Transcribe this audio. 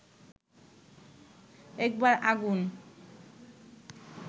একবার আগুন